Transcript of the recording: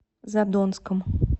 задонском